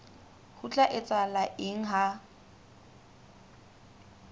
ho tla etsahala eng ha